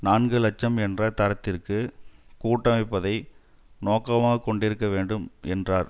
நான்கு இலட்சம் என்ற தரத்திற்கு குட்டமைப்பதை நோக்கமாக கொண்டிருக்க வேண்டும் என்றார்